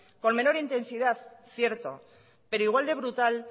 con menor intensidad cierto pero igual de brutal